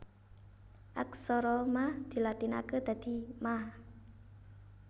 Aksara Ma dilatinaké dadi Ma